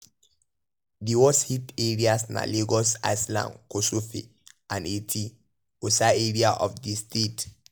di worst hit areas na lagos island kosofe and eti-osa area of di state.